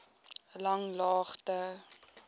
langlaagte